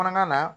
Kɔnɔna na